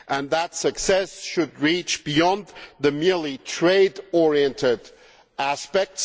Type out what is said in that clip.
That success should reach beyond merely trade oriented aspects